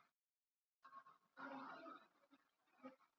GRÍMUR: Og svo er honum sleppt, morðingjanum, sem allir óttast!